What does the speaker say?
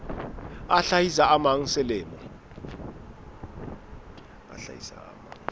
a hlahisa a mang selemo